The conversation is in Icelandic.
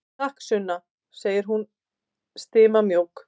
Takk, Sunna, segir hún stimamjúk.